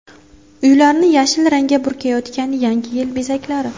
Uylarni yashil rangga burkayotgan Yangi yil bezaklari .